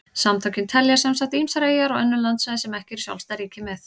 Samtökin telja sem sagt ýmsar eyjar og önnur landsvæði sem ekki eru sjálfstæð ríki með.